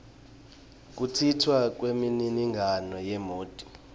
kuntjintjwa kwemininingwane yemoti